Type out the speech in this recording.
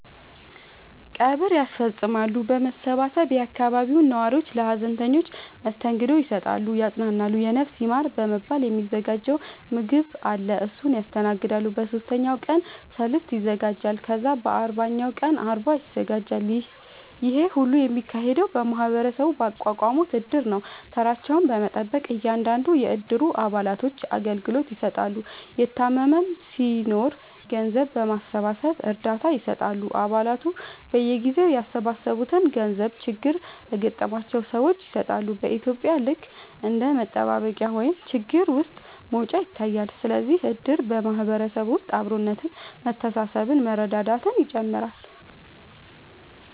ቀብር ያስፈፅማሉ በመሰባሰብ የአካባቢው ነዋሪዎች ለሀዘንተኞች መስተንግዶ ይሰጣሉ ያፅናናሉ የነፍስ ይማር በመባል የ ሚዘጋጅ ምገባ አለ እሱን ያስተናግዳሉ በ ሶስተኛው ቀን ሰልስት ይዘጋጃል ከዛ በ አርባኛው ቀን አርባ ይዘጋጃል ይሄ ሁሉ የሚካሄደው ማህበረሰቡ ባቋቋሙት እድር ነው ተራቸውን በመጠበቅ እያንዳንዱን የ እድሩ አባላቶች አገልግሎት ይሰጣሉ የታመመም ሲናኖር ገንዘብ በማሰባሰብ እርዳታ ይሰጣሉ አ ባላቱ በየጊዜው ያሰባሰቡትን ገንዘብ ችግር ለገጠማቸው ሰዎች ይሰጣሉ በ ኢትዩጵያ ልክ እንደ መጠባበቂያ ወይም ችግር ውስጥ መውጫ ይታያል ስለዚህም እድር በ ማህበረሰብ ውስጥ አብሮነት መተሳሰብ መረዳዳትን ይጨምራል